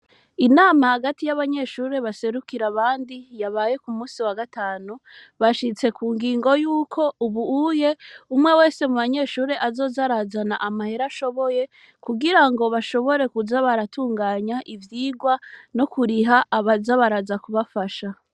Inama hagati y'abanyeshure baserukira abandi, yabaye k'umusi wa gatanu, bashitse ku ngingo yuko ubuye umwe wese mu banyeshure azoza arazana amahera ashoboye, kugira ngo bashobore kuza baratunganya ivyirwa no kuriha abaza baraza kubafasha.